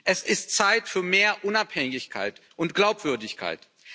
Es ist Zeit für mehr Unabhängigkeit und Glaubwürdigkeit.